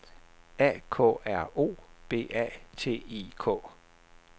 A K R O B A T I K